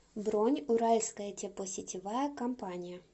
бронь уральская теплосетевая компания